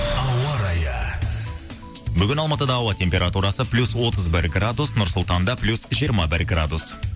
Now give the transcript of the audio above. ауа райы бүгін алматыда ауа температурасы плюс отыз бір градус нұр сұлтанда плюс жиырма бір градус